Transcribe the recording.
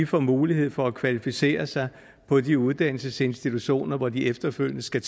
får mulighed for at kvalificere sig på de uddannelsesinstitutioner hvor de efterfølgende skal